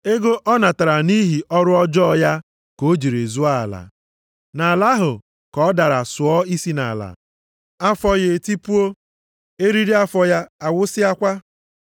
Ego ọ natara nʼihi ọrụ ọjọọ ya ka o jiri zụọ ala. Nʼala ahụ ka ọ dara sụọ isi nʼala, afọ ya etipuo, eriri afọ ya awụsịakwa.